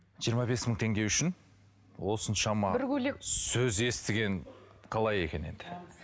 жиырма бес мың теңге үшін осыншама сөз естіген қалай екен енді